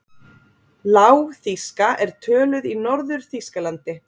Lágþýska er töluð í Norður-Þýskalandi.